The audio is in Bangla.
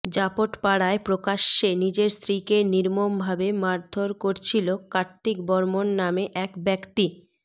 জাপটপাড়ায় প্রকাশ্যে নিজের স্ত্রীকে নির্মমভাবে মারধর করছিল কার্তিক বর্মন নামে এক ব্যক্তি